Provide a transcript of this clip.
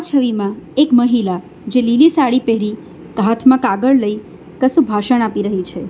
છવીમાં એક મહિલા જે લીલી સાડી પહેરી હાથમાં કાગળ લઈ કશું ભાષણ આપી રહી છે.